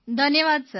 ધન્યવાદ સર